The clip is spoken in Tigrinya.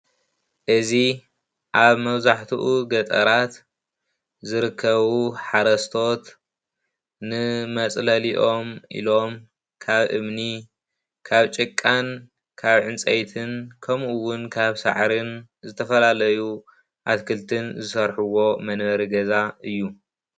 እዚ ኣብ መብዛሕትኡ ገጠራት ዝርከቡ ሓረስቶት ንመፅለሊኦም ኢሎም ካብ እምኒ ካብ ጭቃን ካብ ዕንፀይትን ከምኡ ውን ካብ ሳዕርን ዝተፈላለዩ ኣትክልቲ ዝሰርሕዎ መንበሪ ገዛ እዩ ።